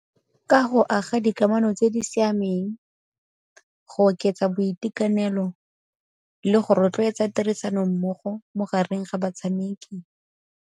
Ka go aga dikamano tse di siameng, go oketsa boitekanelo le go rotloetsa tirisano mmogo mo gareng ga batshameki.